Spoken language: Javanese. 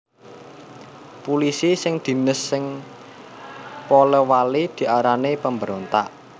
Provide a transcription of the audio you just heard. Pulisi sing dines sing Polewali diarani pemberontak